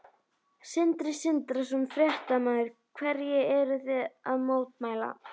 Sindri Sindrason, fréttamaður: Hverju eruð þið að mótmæla?